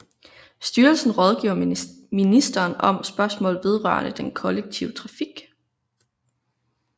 Styrelsen rådgiver ministeren om spørgsmål vedrørende den kollektive trafik